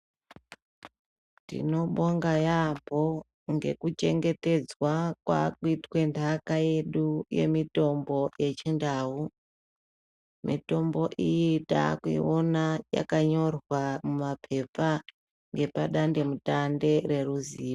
Tinobonga yambo ngekuchengetedzwa kwakuitwe nhaka yedu yemitombo yechindau mitombo iyi taakuiona yakanyorwa mumapepa epa dandemutande reruziyo